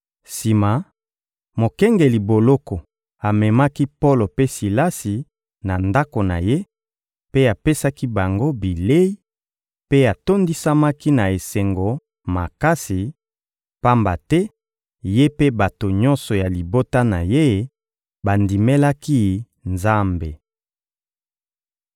Sima, mokengeli boloko amemaki Polo mpe Silasi na ndako na ye, mpe apesaki bango bilei; mpe atondisamaki na esengo makasi, pamba te ye mpe bato nyonso ya libota na ye bandimelaki Nzambe.